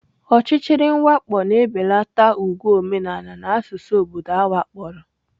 Ọchịchịrị mwakpo na-ebelata ùgwù omenala na asụsụ obodo awakporo.